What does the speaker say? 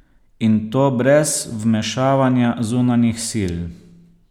In to brez vmešavanja zunanjih sil.